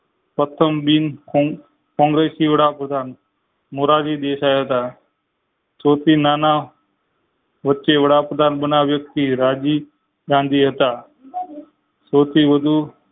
પ્રથમ બિન કો કોંગ્રેસી વડાપ્રધાન મોરારી દેસાઈ હતા સૌથી નાના વચ્ચે વડાપ્રધાન બનનાર વ્યક્તિ રાજીવ ગાંધી હતા